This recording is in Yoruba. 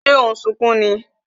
Ṣé o n sunkún ni?